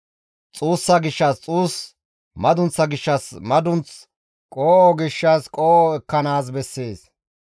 xuussa gishshas xuus, madunththa gishshas madunth, qoo7o gishshas qoo7o ekkanaas bessees.